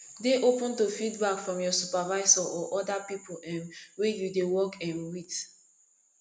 dey open to feedback from your supervisor or oda pipo um wey you dey work um with